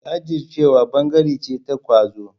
Jajircewa ɓangare ce ta ƙwazo.